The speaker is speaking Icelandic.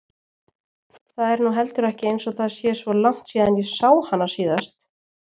Það er nú heldur ekki einsog það sé svo langt síðan ég sá hana síðast.